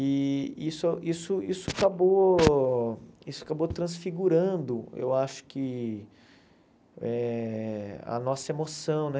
E isso isso isso acabou isso acabou transfigurando, eu acho que, eh a nossa emoção, né?